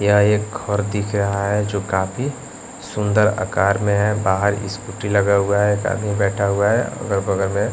यह एक घर दिख रहा है जो काफी सुंदर आकार में है बाहर स्कूटी लगा हुआ है एक आदमी बैठा हुआ है अगर बगर में--